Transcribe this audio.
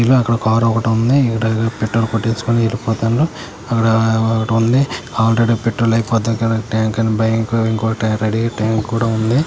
ఇక్కడ ఒక కార్ ఒకటి ఉంది. ఈడేవడో పెట్రోల్ కొట్టించుకొని వెళ్ళిపోతుండు. అక్కడ ఒకటుంది ఆల్రెడీ పెట్రోల్ ఐపోతే కరెక్ట్ టైం కూడా ఉంది.